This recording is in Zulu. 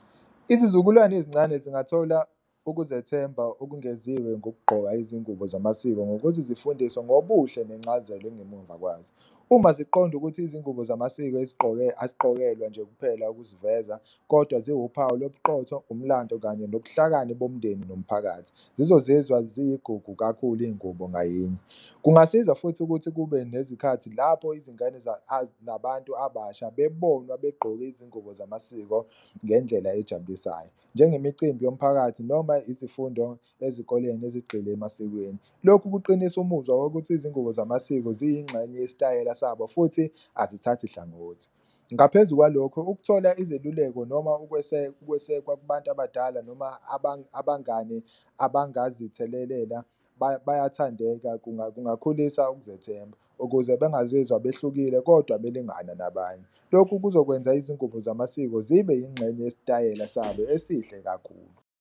Izizukulwane ezincane zingathola ukuzethemba okwengeziwe ngokugqoka izingubo zamasiko ngokuthi zifundiswe ngobuhle nencazelo engemuva kwazo. Uma ziqonda ukuthi izingubo zamasiko azigqokelwa nje kuphela ukuziveza kodwa ziwuphawu lobuqotho, umlando kanye onobuhlakani bomndeni nomphakathi zizozizwa zigugu kakhulu iy'ngubo ngayinye. Kungasiza futhi ukuthi kube nezikhathi lapho izingane nabantu abasha bebonwa begqoke izingubo zamasiko ngendlela ejabulisayo, njengemicimbi yomphakathi noma izifundo ezikoleni ezigxile emasikweni. Lokhu kuqinisa umuzwa wokuthi izingubo zamasiko ziyingxenye yesitayela sabo futhi azithathi hlangothi, ngaphezu kwalokho ukuthola izeluleko noma ukwesekwa kubantu abadala noma abangane abangazithelelela bayathandeka kungakhulisa ukuzethemba. Ukuze bengazizwa behlukile kodwa belingana nabanye, lokhu kuzokwenza izingubo zamasiko zibe yingxenye yesitayela sabo esihle kakhulu.